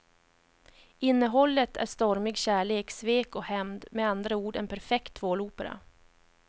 Innehållet är stormig kärlek, svek och hämnd, med andra ord en perfekt tvålopera.